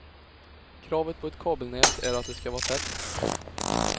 Kravet på ett kabelnät är att det skall vara tätt.